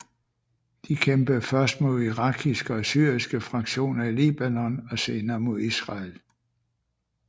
De kæmpede først mod irakiske og syriske fraktioner i Libanon og senere mod Israel